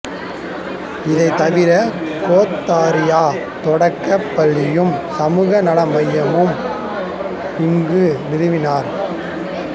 இதைத்தவிர கேந்தாரியா தொடக்கப்பள்ளியையும் சமூக நல மையத்தையும் அங்கு நிறுவினார்